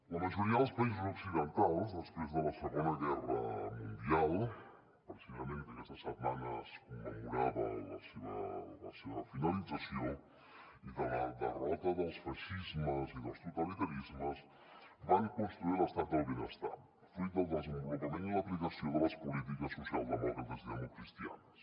la majoria dels països occidentals després de la segona guerra mundial precisament aquesta setmana es commemorava la seva finalització i de la derrota dels feixismes i dels totalitarismes van construir l’estat del benestar fruit del desenvolupament i l’aplicació de les polítiques socialdemòcrates i democristianes